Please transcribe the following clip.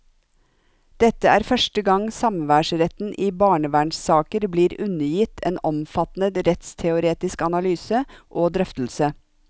Dette er første gang samværsretten i barnevernssaker blir undergitt en omfattende rettsteoretisk analyse og drøftelse.